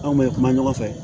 Anw bɛ kuma ɲɔgɔn fɛ